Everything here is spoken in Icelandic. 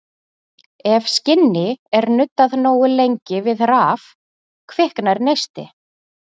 Ef skinni er nuddað nógu lengi við raf kviknar neisti.